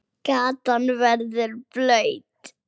Gatan verður blaut.